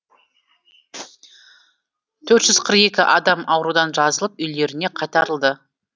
төрт жүз қырық екі адам аурудан жазылып үйлеріне қайтарылды